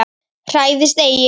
Hræðist eigi!